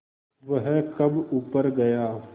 वह कब ऊपर गया